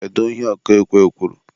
kedu ihe ọkụ ekwe kwuru?